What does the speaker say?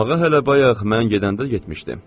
Axı oynamağa hələ bayaq mən gedəndə getmişdi.